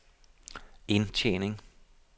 indtjening